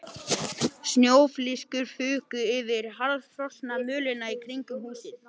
Snjóflyksur fuku yfir harðfrosna mölina í kringum húsið.